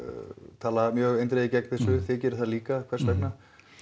tala mjög eindregið gegn þessu þið gerið það líka hvers vegna